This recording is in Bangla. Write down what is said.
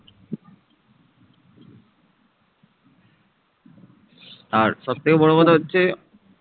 আর সব থেকে বড়ো কথা হচ্ছে